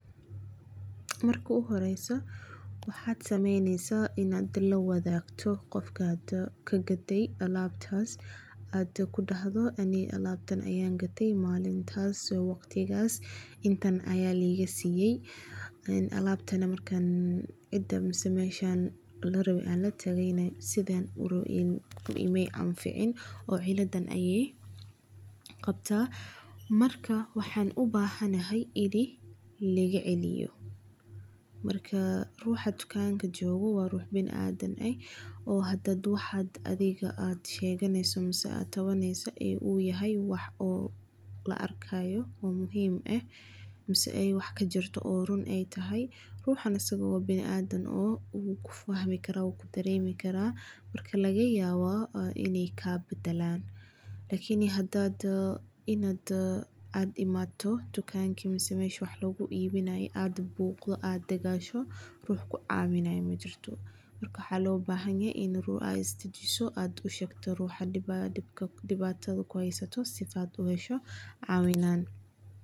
Marka u horeyso waxaad sameyneysa inaad la wadaagto qofkaad ka gate alabtaas aad ku dahdo ani alaabtaas ayaan gate malintaas intan ayaa liiga siiya, alabtana maay i anfacin, waxaan ubahanahay in liiga celiyo, ruuxa tukanka joogo waa biniadam, waxaad katabaneyso haduu yahay wax muuqdo ruuxan asaga wuu ku fahmi karaa marka laga yaaba inaay kaa badalaan, lakin hadaad buuqdo ruux ku caawinay majirto, waxaa la rabaa inaad is dajiso si aad uhesho cawinaad.